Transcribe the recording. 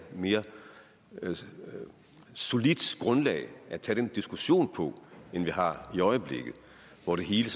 et mere solidt grundlag at tage den diskussion på end vi har i øjeblikket hvor det hele